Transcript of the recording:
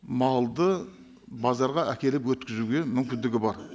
малды базарға әкеліп өткізуге мүмкіндігі бар